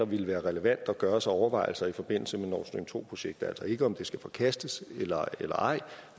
ville være relevant at gøre sig af overvejelser i forbindelse med nord stream to projektet altså ikke om det skal forkastes eller ej